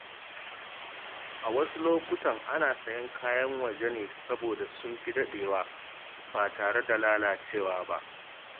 A wasu lokuta, ana sayen kayan waje ne saboda sun fi dadewa ba tare da lalacewa ba.